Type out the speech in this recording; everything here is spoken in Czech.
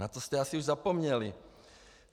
Na to jste asi už zapomněli.